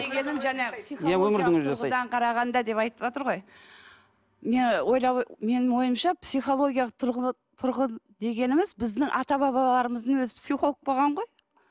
қарағанда деп айтыватыр ғой менің ойымша психологиялық тұрғы тұрғы дегеніміз біздің ата бабалармыздың өзі психолог болған ғой